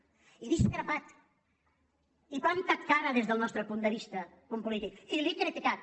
hi he discrepat li he plantat cara des del nostre punt de vis·ta punt polític i l’he criticat